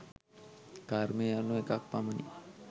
කර්මය යනු එකක් පමණි.